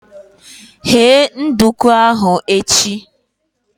Ghee nduku ahu echi!